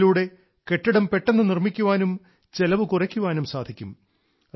ഇതിലൂടെ കെട്ടിടം പെട്ടെന്ന് നിർമ്മിക്കാനും ചെലവ് കുറയ്ക്കാനും സാധിക്കും